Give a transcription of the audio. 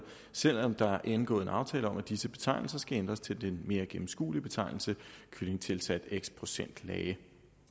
selv om der er indgået en aftale om at disse betegnelser skal ændres til den mere gennemskuelige betegnelse kylling tilsat x procent lage